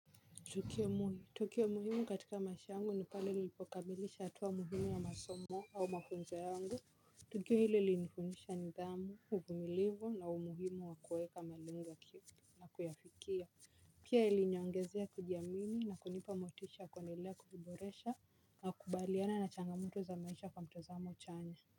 Tukio muhimu katika maisha yangu ni pale nilipokamilisha hatua muhimu ya masomo au mafunzo yangu. Tukio ile ilinifunisha nidhamu, uvumilivu na umuhimu wa kuweka malengo na kuyafikia. Pia iliniongezea kujiamini na kunipa motisha ya kuendelea kujiboresha, nakubaliana na changamoto za maisha kwa mtazamo chanya.